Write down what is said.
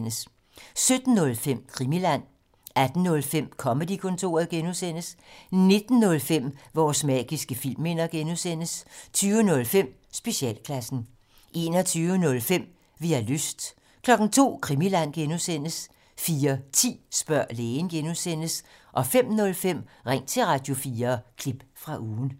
17:05: Krimiland 18:05: Comedy-kontoret (G) 19:05: Vores magiske filmminder (G) 20:05: Specialklassen 21:05: Vi har lyst 02:00: Krimiland (G) 04:10: Spørg lægen (G) 05:05: Ring til Radio4 – klip fra ugen